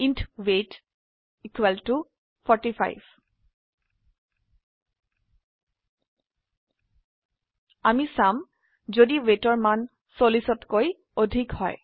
int weight equal to 45 আমি চাম যদি weightৰ মান 40তকৈ অধিক হয়